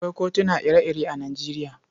Akwai kutuna ire-ire a Nijeriya.